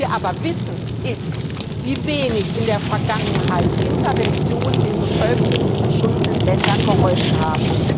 Was wir aber wissen, ist, wie wenig in der Vergangenheit Interventionen der Bevölkerung in geschundenen Ländern geholfen haben.